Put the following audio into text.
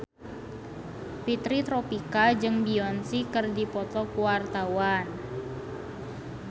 Fitri Tropika jeung Beyonce keur dipoto ku wartawan